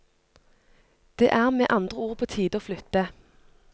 Det er med andre ord på tide å flytte.